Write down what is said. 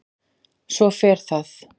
Svo fer það.